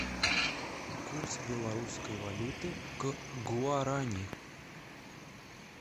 курс белорусской валюты к гуарани